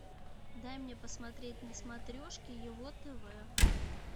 дай мне посмотреть на смотрешке его тв